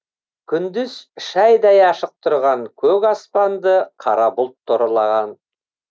күндіз шайдай ашық тұрған көк аспанды қара бұлт торлаған